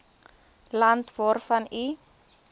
land waarvan u